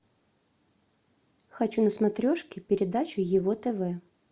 хочу на смотрешке передачу его тв